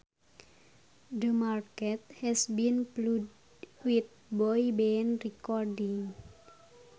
The market has been flooded with boy band recordings